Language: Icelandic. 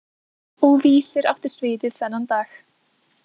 Og Vísir átti sviðið þennan dag.